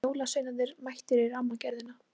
Jólasveinarnir mættir í Rammagerðina